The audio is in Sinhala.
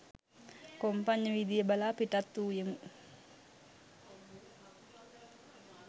කොම්පඤ්ඤවීදිය බලා පිටත්වූයෙමු